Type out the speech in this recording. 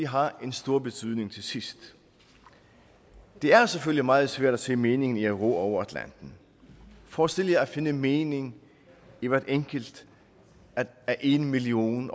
har en stor betydning til sidst det er selvfølgelig meget svært at se meningen i at ro over atlanten forestil jer at finde mening i hvert enkelt af en million